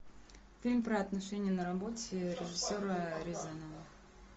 фильм про отношения на работе режиссера рязанова